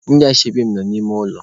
Ndị ashebi mụ nọ n'ime ụlọ.